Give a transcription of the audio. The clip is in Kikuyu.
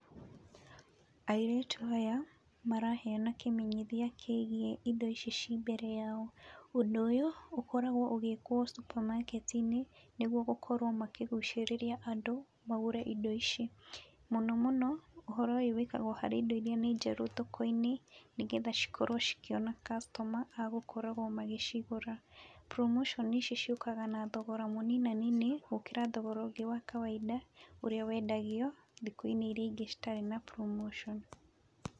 Airĩtu aya maraheyana kĩmenyithia kĩa indo ici ciĩ-mbere yao. Ũndũ ũyũ, ũkoragwo ũgĩkwo supermarket inĩ nĩguo gũkorwo makĩgucĩrĩria andũ nĩguo magũre indo ici. Mũno mũno, ũhoro ũyũ wĩkagwo harĩ indo iria nĩ njerũ thoko-inĩ, nĩgetha cikorwo cikĩona customer agũkoragwo magĩcigũra. Promotion ici ciũkaga na thogora mũninanini, gũkĩra thogora ũngĩ wa kawaida ũrĩa wendagio thikũ-inĩ iria ingĩ citarĩ na promotion.